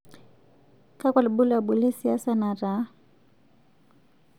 Kakua lbulabul lesiasa nataa?